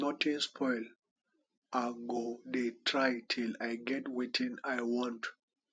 nothing spoil i go dey try till i get wetin i want